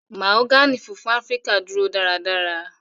Mahogany funfun Afirika duro daradara.